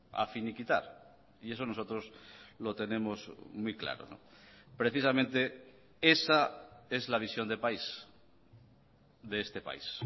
a finiquitar y eso nosotros lo tenemos muy claro precisamente esa es la visión de país de este país